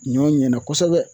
Ɲɔ ɲɛna kosɛbɛ